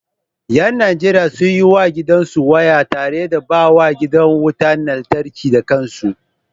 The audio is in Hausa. Yan Najeriya sun yi wa gidansu waya tare da baiwa gidan wutar lantarki da kansu